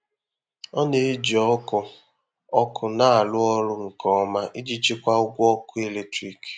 Ọ na-eji ọkụ ọkụ na-arụ ọrụ nke ọma iji chikwaa ụgwọ ọkụ eletrik.